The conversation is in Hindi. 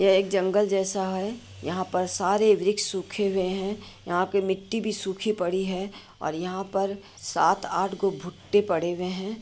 यह एक जंगल जैसा है। यहां पर सारे वृक्ष सूखे हुए हैं। यहां की मिट्टी भी सुखी पड़ी है। और यहां पर सात-आठ गो-भुट्टे पड़े हुए हैं।